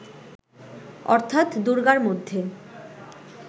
অর্থাৎ দূর্গার মধ্যে